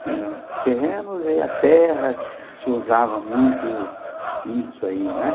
Tinha terrenos e a terra se usava muito isso aí, né?